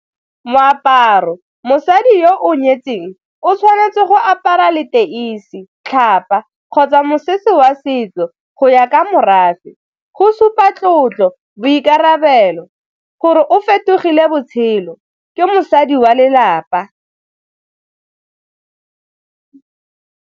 Moaparo, mosadi yo o nyetseng o tshwanetse go apara leteisi, tlhapa kgotsa mosese wa setso go ya ka morafe go supa tlotlo, boikarabelo gore o fetogile botshelo ke mosadi wa lelapa.